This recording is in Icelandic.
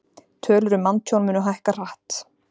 Tölur um manntjón munu hækka hratt